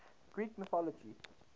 greek mythology